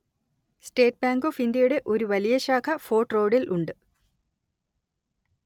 state bank of ഇന്ത്യയുടെ ഒരു വലിയ ശാഖ ഫോര്‍ട്ട് റോഡില്‍ ഉണ്ട്